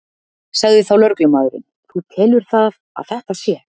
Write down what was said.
Sagði þá lögreglumaðurinn: Þú telur það að þetta sé?